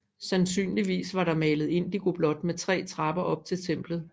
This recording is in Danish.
Sandsynligvis var det malet indigoblåt med tre trapper op til templet